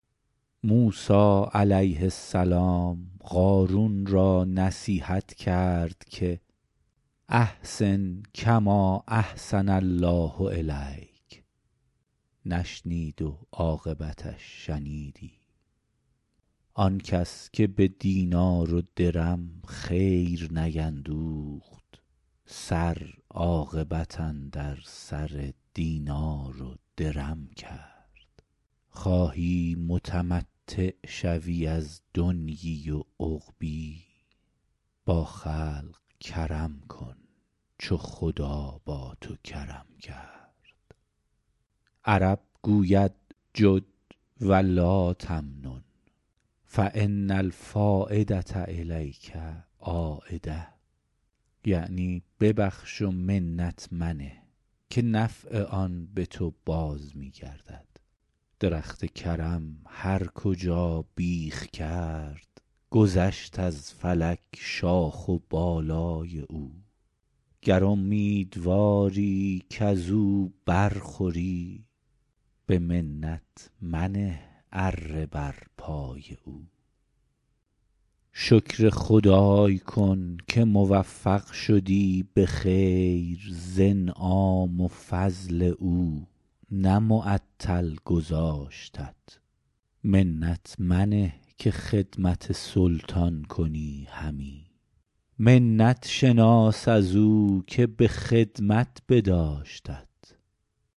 موسی علیه السلام قارون را نصیحت کرد که احسن کما احسن الله الیک نشنید و عاقبتش شنیدی آن کس که به دینار و درم خیر نیندوخت سر عاقبت اندر سر دینار و درم کرد خواهی که ممتع شوی از دنیا و عقبا با خلق کرم کن چو خدا با تو کرم کرد عرب گوید جد و لاتمنن فان الفایدة الیک عایدة یعنی ببخش و منت منه که نفع آن به تو باز می گردد درخت کرم هر کجا بیخ کرد گذشت از فلک شاخ و بالای او گر امیدواری کز او بر خوری به منت منه اره بر پای او شکر خدای کن که موفق شدی به خیر ز انعام و فضل او نه معطل گذاشتت منت منه که خدمت سلطان کنی همی منت شناس از او که به خدمت بداشتت